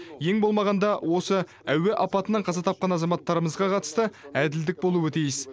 ең болмағанда осы әуе апатынан қаза тапқан азаматтарымызға қатысты әділдік болуы тиіс